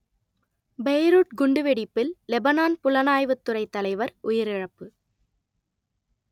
Beirut குண்டுவெடிப்பில் Lebanon புலனாய்வுத் துறைத் தலைவர் உயிரிழப்பு